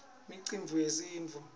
imicimbi yesintfu